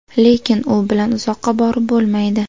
Lekin u bilan uzoqqa borib bo‘lmaydi.